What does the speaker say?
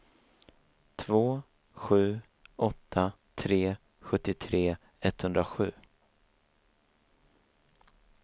två sju åtta tre sjuttiotre etthundrasju